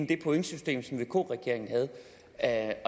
det pointsystem som vk regeringen havde